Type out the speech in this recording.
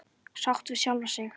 Sátt við sjálfa sig.